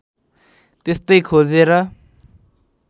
त्यस्तै खोजेर